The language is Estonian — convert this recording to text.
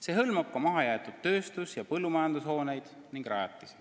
See hõlmab ka mahajäetud tööstus- ja põllumajandushooneid ning -rajatisi.